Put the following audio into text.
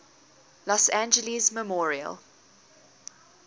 los angeles memorial